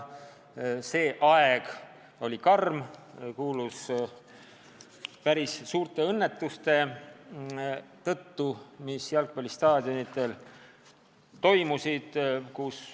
See aeg oli karm ja tuntud päris suurte õnnetuste tõttu, mis jalgpallistaadionidel juhtusid.